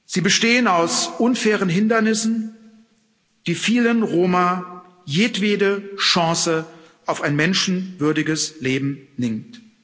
Sie bestehen aus unfairen Hindernissen, die vielen Roma jedwede Chance auf ein menschenwürdiges Leben nehmen.